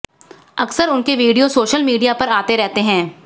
अकसर उनके video social media पर आते रहते हैं